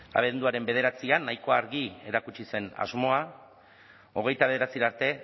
abenduaren bederatzian nahiko argi erakutsi zen asmoa hogeita bederatzira arte